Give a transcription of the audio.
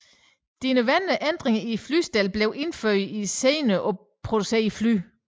De nødvendige ændringer i flystellet blev indført i senere producerede fly